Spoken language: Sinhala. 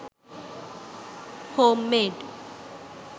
homemade